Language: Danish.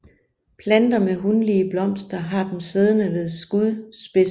Planter med hunlige blomster har dem siddende ved skudspidsen